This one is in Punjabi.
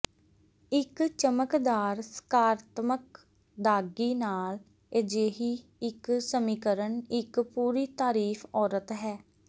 ਇੱਕ ਚਮਕਦਾਰ ਸਕਾਰਾਤਮਕ ਦਾਗੀ ਨਾਲ ਅਜਿਹੀ ਇੱਕ ਸਮੀਕਰਨ ਇੱਕ ਪੂਰੀ ਤਾਰੀਫ ਔਰਤ ਹੈ